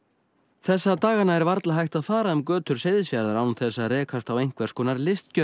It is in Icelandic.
þessa dagana er varla hægt að fara um götur Seyðisfjarðar án þess að rekast á einhvers konar